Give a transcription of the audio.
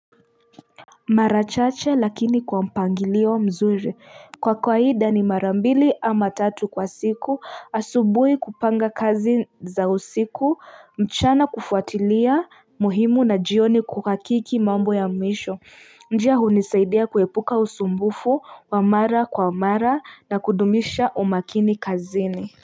Mara chache lakini kwa mpangilio mzuri, kwa kwaida ni mara mbili ama tatu kwa siku, asubui kupanga kazi za usiku, mchana kufuatilia muhimu na jioni kukakiki mambo ya mwisho njia unisaidia kuhepuka usumbufu, wa mara kwa mara na kudumisha umakini kazini.